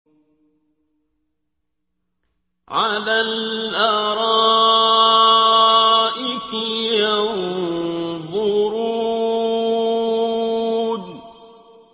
عَلَى الْأَرَائِكِ يَنظُرُونَ